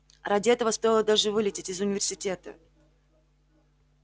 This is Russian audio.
ради этого стоило даже вылететь из университета